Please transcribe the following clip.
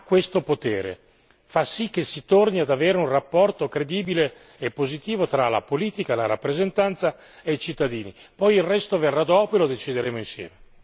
L'ipotesi di riunificare le sedi ha questo potere fa sì che si torni ad avere un rapporto credibile e positivo tra la politica, la rappresentanza e i cittadini.